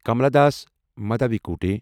Kamala Das Madhavikutty